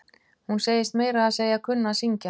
Hún segist meira að segja kunna að syngj.